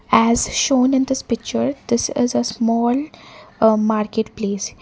as shown in this picture this is a small market place.